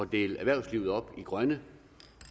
dele erhvervslivet op i grønne